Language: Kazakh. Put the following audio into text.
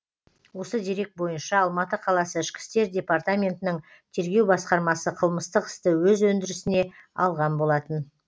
осы дерек бойынша алматы қаласы ішкі істер департаментінің тергеу басқармасы қылмыстық істі өз өндірісіне алған болатын